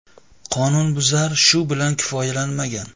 Qonunbuzar shu bilan kifoyalanmagan.